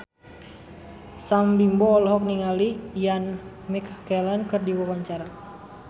Sam Bimbo olohok ningali Ian McKellen keur diwawancara